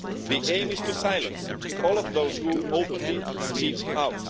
The aim is to silence all of those who openly speak out.